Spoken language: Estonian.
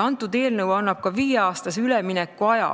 Eelnõu annab ka viieaastase üleminekuaja,